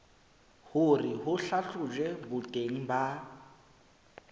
hore ho hlahlojwe boteng ba